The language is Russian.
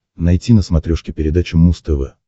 найти на смотрешке передачу муз тв